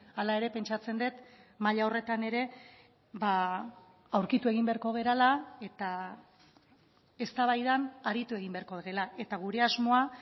hala ere pentsatzen dut maila horretan ere aurkitu egin beharko garela eta eztabaidan aritu egin beharko dela eta gure asmoa